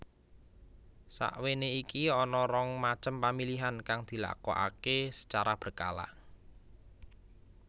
Sakwéné iki ana rong macem pamilihan kang dilakokaké secara berkala